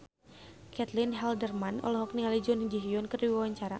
Caitlin Halderman olohok ningali Jun Ji Hyun keur diwawancara